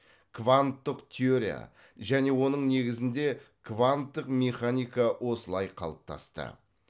кванттық теория және оның негізінде кванттық механика осылай қалыптасты